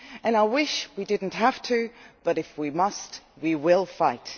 I wish we did not have to, but if we must, we will fight.